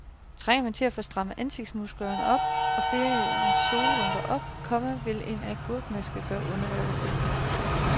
Trænger man til at få strammet ansigtsmusklerne og feriens solrynker op, komma så vil en agurkemaske gøre underværker. punktum